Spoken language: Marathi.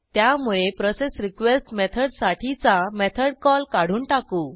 त्यामुळे प्रोसेसरीक्वेस्ट मेथडसाठीचा मेथड कॉल काढून टाकू